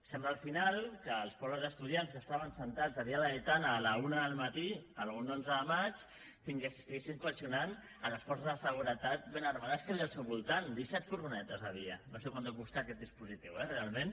sembla al final que els pobres estudiants que estaven asseguts a via laietana a la una del matí algun onze de maig coaccionessin les forces de seguretat ben armades que hi havia al seu voltant disset furgonetes hi havia no sé quant deu costar aquest dispositiu eh realment